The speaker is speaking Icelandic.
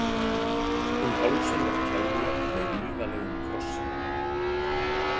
Um hálsinn var keðja með vígalegum krossi.